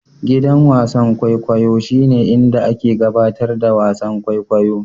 Gidan wasan kwaikwayo shine inda ake gabatar da wasan kwaikwayo.